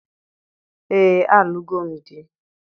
Ee, a lụgo m di